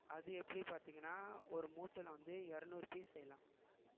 அது எப்படி பாத்தீங்கன்னா ஒரு மூட்டைல வந்து இருநூறு piece செய்யலாம்